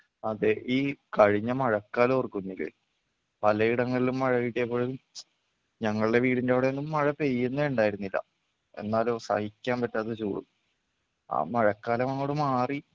അതെ ഈ കഴിഞ്ഞ മഴക്കാലം ഓർക്കുന്നില്ലേ? പലയിടങ്ങളിലും മഴ കിട്ടിയപ്പോഴും ഞങ്ങളുടെ വീടിൻ്റെ അവിടെയൊന്നും മഴപെയ്യുന്നേ ഉണ്ടായിരുന്നില്ല എന്നാലോ സഹിക്കാൻ പറ്റാത്ത ചൂടും ആ മഴക്കാലമങ്ങോട് മാറി